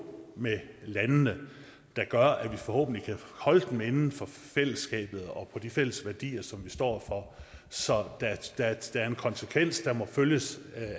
med landene der gør at vi forhåbentlig kan holde dem inden for fællesskabet og på de fælles værdier som vi står for så det er en konsekvens der må følges